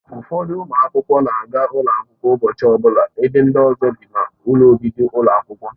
Ụfọdụ ụmụ akwụkwọ na-aga ụlọ akwụkwọ ụbọchị ọbụla ebe ndị ọzọ bi n'ụlọ obibi ụlọ akwụkwọ.